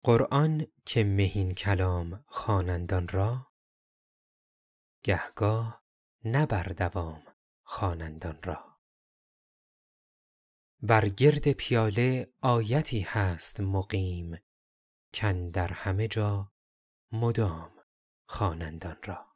قرآن که مهین کلام خوانند آن را گه گاه نه بر دوام خوانند آن را بر گرد پیاله آیتی هست مقیم کاندر همه جا مدام خوانند آن را